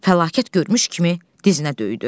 Fəlakət görmüş kimi dizinə döydü.